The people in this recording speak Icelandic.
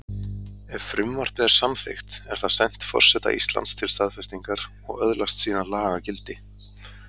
Ef frumvarpið er samþykkt er það sent forseta Íslands til staðfestingar og öðlast síðan lagagildi.